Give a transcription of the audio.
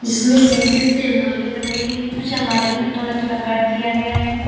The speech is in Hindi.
इसमें शीशे से अलमारियां बनाई गई हैं कुछ अलमारी में थोड़ा थोड़ा कट दिया गया है।